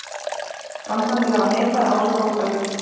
Framkvæmdir hafa neikvæð áhrif á fuglalíf